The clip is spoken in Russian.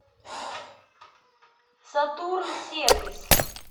сатурн сервис